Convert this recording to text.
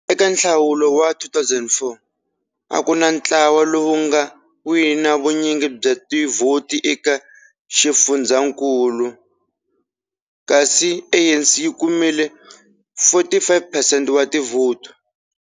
Eka nhlawulo wa 2004, a ku na ntlawa lowu wu nga wina vunyingi bya tivhoti eka eka xifundzhankulu kasi ANC yi kumile 45 percent wa tivhoti.